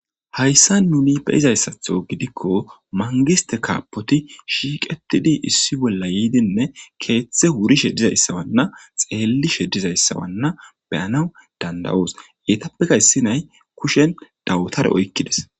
Hayissani nunni beuizayisatho gidiko manigiste kabboyt shiqetidii issi bolla yidine kethi urishe dizayisa beyanawu danidaosona etapeka issi na'ayi kusheni dawutara oyikides